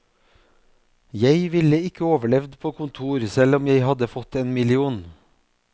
Jeg ville ikke overlevd på kontor selv om jeg hadde fått en million.